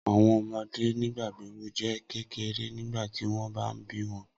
Awọn ọmọde nigbagbogbo jẹ kekere nigbati wọn ba bi wọn